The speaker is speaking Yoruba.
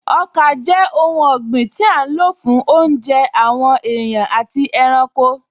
Ọkà jẹ́ oun ọ̀gbìn tí a n lò fún oúnjẹ àwọn èèyàn àti ẹranko